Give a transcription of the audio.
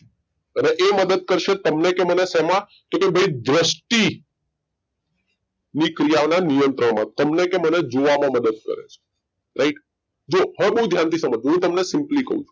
અને એ મદદ કરશે તમને કે મને શેમાં કે તો ભઈ દ્રષ્ટિ ની ક્રિયા ઓને નિયંત્રણ માં તમને કે મને જોવા માં મદદ કરે છે રાઈટ જો હવે બઉ ધ્યાન થી સમજ જો હું તમને સિમ્પલી કઉ છું,